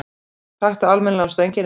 Taktu almennilega á stönginni, maður!